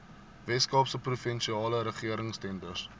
weskaapse provinsiale regeringstenders